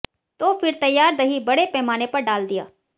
तो फिर तैयार दही बड़े पैमाने पर डाल दिया